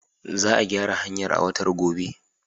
Za a gyara hanyar a watan gobe.